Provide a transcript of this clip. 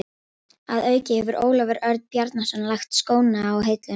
Að auki hefur Ólafur Örn Bjarnason lagt skóna á hilluna.